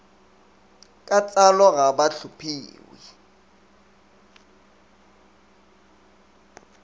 ka tsalo ga ba tlhophiwe